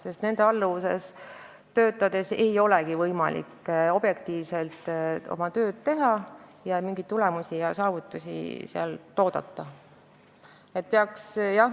Oma juhi alluvuses töötades ei olegi võimalik objektiivselt oma tööd teha ning sealt ei saa mingeid tulemusi ega saavutusi oodata.